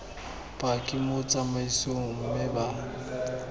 paki mo tsamaisong mme ba